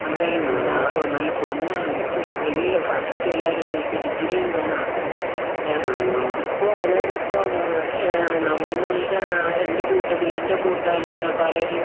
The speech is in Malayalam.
എന്തായാലും നല്ല പെണ്ണൊന്നുംകിട്ടൂല്ല എല്ലഫസ്റ്റെല്ലാവരുംചോദിക്യ ഡിഗ്രിയുണ്ടോന്നാണ്. ഇപ്പൊ അതായതിപ്പൊ ഏഹ് നമ്മൾടേ എന്റെകൂട്ടത്തിലെ കൂട്ടുകാരിലിൽപലരും